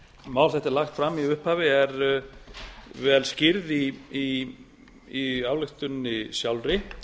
þetta er lagt fram í upphafi er vel skýrð í ályktuninni sjálfri